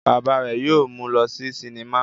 Bàbá rẹ̀ yóò mú lọ sí sinimá.